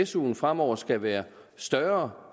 suen fremover skal være større